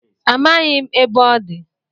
Amaghị m ebe ọ dị